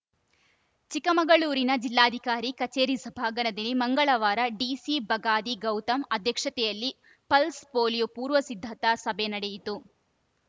ಚಿಕ್ಕಮಗಳೂರಿನ ಜಿಲ್ಲಾಧಿಕಾರಿ ಕಚೇರಿ ಸಭಾಂಗಣದಲ್ಲಿ ಮಂಗಳವಾರ ಡಿಸಿ ಬಗಾದಿ ಗೌತಮ್‌ ಅಧ್ಯಕ್ಷತೆಯಲ್ಲಿ ಪಲ್ಸ್‌ ಪೋಲಿಯೋ ಪೂರ್ವಸಿದ್ಧತಾ ಸಭೆ ನಡೆಯಿತು